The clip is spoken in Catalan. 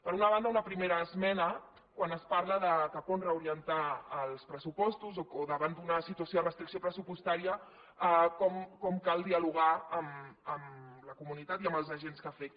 per una banda una primera esmena quan es parla de cap on reorientar els pressupostos o davant d’una situació de restricció pressupostària com cal dialogar amb la comunitat i amb els agents que afecta